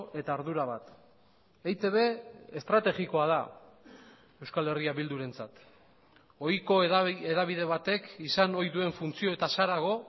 eta ardura bat eitb estrategikoa da euskal herria bildurentzat ohiko hedabide batek izan ohi duen funtzioetaz harago